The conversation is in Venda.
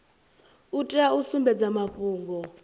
u tea u sumbedza mafhungo